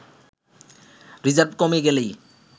reserve কমে গেলেই